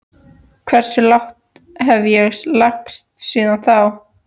Hversu lágt hef ég lagst síðan þá?